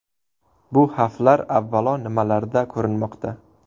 Bu xavflar, avvalo, nimalarda ko‘rinmoqda?